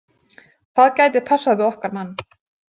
Það gæti passað við okkar mann.